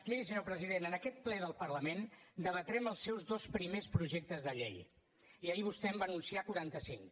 miri senyor president en aquest ple del parlament debatrem els seus dos primers projectes de llei i ahir vostè en va anunciar quarantacinc